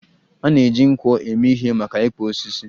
A na-eji nkwọ eme ihe maka ịkpụ osisi.